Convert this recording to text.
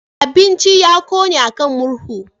Abincin ya ƙone a kan murhu.